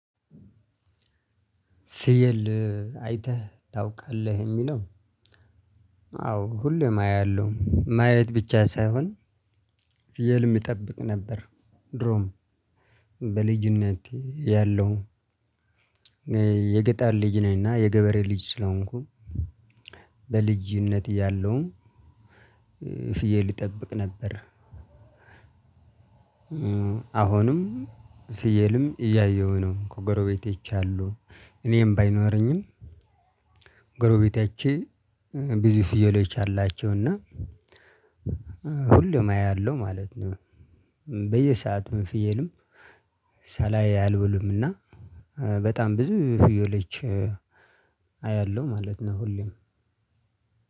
ፍዬል አይተህ ታውቃለህ እሚለው? አዎ ሁሌም አያለው ማየት ብቻ ሳይሆን ፊየልም እጠብቅ ነበር። ድሮም በልጅነቴ እያለው የገጠር ልጅ ነኝ። እና የገበሬ ልጅ ስለሆንኩ በልጅነት እያለውም ፍዬል እጠብቅ ነበር። አሁንም ፍየልም እያየሁ ነው ከጎረቤቴ አይቻለው። እኔም ባይኖረኝም ጎረቤቴ አይቼ ብዙ ፍየሎች አላቸው እና ሁሌም አያለው ማለት ነው። በየሰአቱ ፊየልም ሳላይ አልውልም። እና በጣም ብዙ ፊየሎች አያለው ማለት ነው። ሁሌም